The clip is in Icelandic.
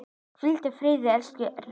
Hvíldu í friði, elsku Erla.